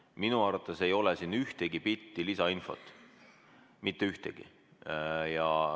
Minu arvates ei ole siin ühtegi bitti lisainfot, mitte ühtegi.